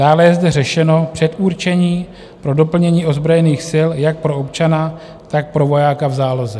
Dále je zde řešeno předurčení pro doplnění ozbrojených sil jak pro občana, tak pro vojáka v záloze.